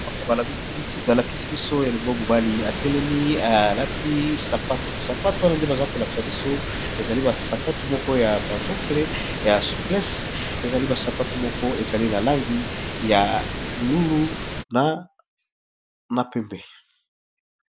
baama balakisi biso elongo mobali etelemi alati ssapatu wana nde baza kolakisa biso ezali basapatu moko ya pantoufle ya souplece ezali basapatu moko ezali na langi ya bolulu na pembe